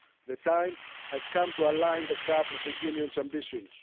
The time has come to align the CAP with the Union's ambitions.